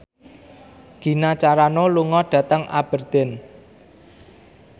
Gina Carano lunga dhateng Aberdeen